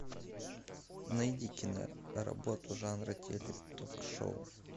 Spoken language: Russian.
найди киноработу жанра теле ток шоу